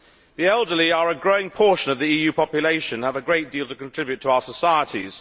The elderly are a growing portion of the EU population and have a great deal to contribute to our societies.